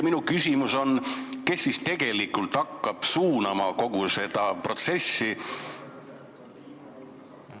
Minu küsimus on, kes tegelikult hakkab kogu seda protsessi suunama.